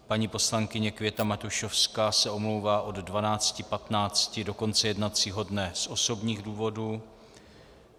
Paní poslankyně Květa Matušovská se omlouvá od 12.15 do konce jednacího dne z osobních důvodů.